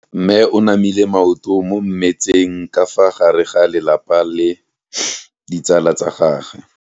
Mme o namile maoto mo mmetseng ka fa gare ga lelapa le ditsala tsa gagwe.